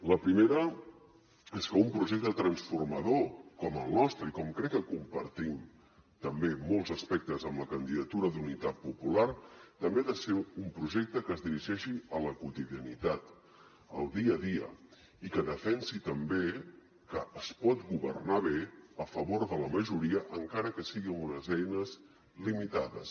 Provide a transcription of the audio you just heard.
la primera és que un projecte transformador com el nostre i com crec que compartim també molts aspectes amb la candidatura d’unitat popular també ha de ser un projecte que es dirigeixi a la quotidianitat al dia a dia i que defensi també que es pot governar bé a favor de la majoria encara que sigui amb unes eines limitades